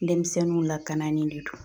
Dɛmisɛnninw lakananin de don